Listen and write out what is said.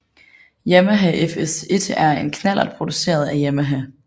Yamaha FS1 er en knallert produceret af Yamaha